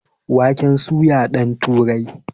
Waken soya ɗan turai